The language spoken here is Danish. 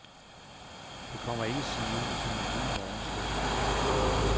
Det kommer ikke sivende en blid morgenstund.